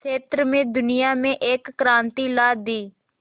क्षेत्र में दुनिया में एक क्रांति ला दी